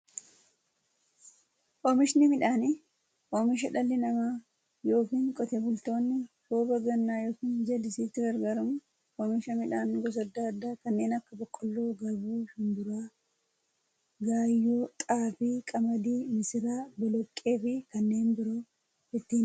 Oomishni midhaanii, oomisha dhalli namaa yookiin Qotee bultoonni roba gannaa yookiin jallisiitti gargaaramuun oomisha midhaan gosa adda addaa kanneen akka; boqqoolloo, garbuu, shumburaa, gaayyoo, xaafii, qamadii, misira, boloqqeefi kanneen biroo itti oomishamiidha.